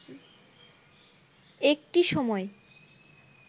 একটি সময়